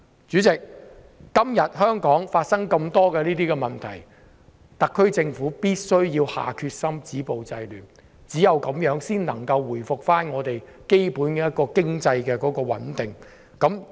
主席，今天香港出現這麼多類似的問題，特區政府必須下決心止暴制亂，只有這樣才能夠回復香港基本的經濟穩定。